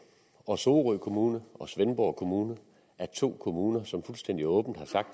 og sorø kommune og svendborg kommune er to kommuner som fuldstændig åbent har sagt